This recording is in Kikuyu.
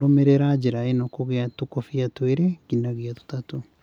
Rũmĩrĩra njĩra ĩno ya kũiga tũkũbia igĩrĩ nginyagia ithatũ